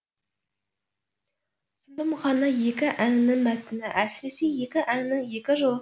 сонда мұхаңа екі әннің мәтіні әсіресе екі әннің екі жолы